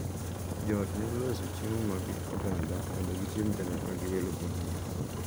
Jo ot nyalo loso chiemo mag oganda mondo gichiem kanyakla gi welo mobiro,